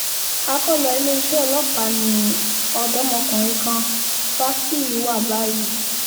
akọ́lọ iléeṣẹ́ ọlọ́pàá ni ọ̀dọ́mọkùnrin kan fásiì wà báyìí